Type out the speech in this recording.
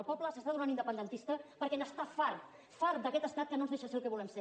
el poble s’està tornant independentista perquè n’està fart fart d’aquest estat que no ens deixa ser el que volem ser